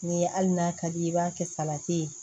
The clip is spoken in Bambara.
Ni hali n'a ka di i ye i b'a kɛ salati ye